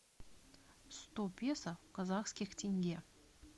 сто песо в казахских тенге